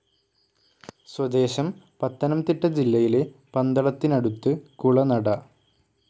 സ്വദേശം പത്തനംതിട്ട ജില്ലയിലെ പന്തളത്തിനടുത്ത് കുളനട.